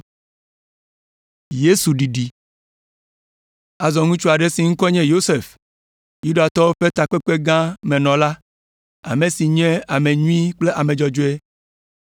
Azɔ ŋutsu aɖe si ŋkɔe nye Yosef, Yudatɔwo ƒe Takpekpegã me nɔla, ame si nye ame nyui kple ame dzɔdzɔe,